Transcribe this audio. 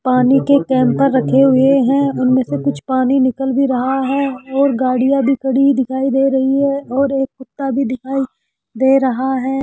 पानी के कैंपर रखे हुए है उनमें से कुछ पानी निकल भी रहा है और गाड़ियां भी खड़ी दिखाई दे रही है और एक कुत्ता भी दिखाई दे रहा है।